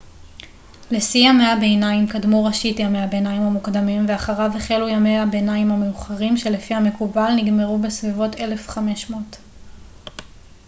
לשיא ימי הביניים קדמו ראשית ימי הביניים המוקדמים ואחריו החלו ימי הביניים המאוחרים שלפי המקובל נגמרו בסביבות 1500